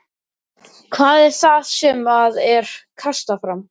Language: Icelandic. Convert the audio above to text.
Helga: Hvað finnst þér um, um þróun Markarfljóts í dag?